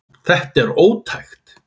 Þetta er ótækt.